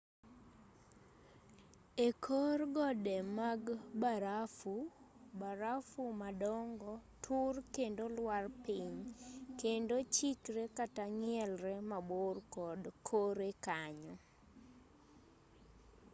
ekor gode mag barafu barafu madongo tur kendo lwar piny kendo chikre kata ng'ielre mabor kod kore kanyo